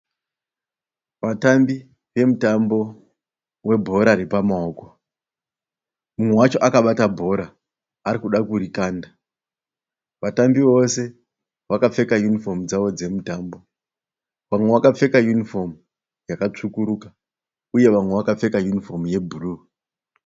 Vatambi vemutambo webhora repamaoko. Umwe wacho akabata bhora arikuda kurikanda. Vatambi vose vakapfeka yunifomu dzavo dzemutambo. Vamwe vakapfeka yunifomu yakatsvukuruka uye vamwe vakapfeka yunifomu yebhuru.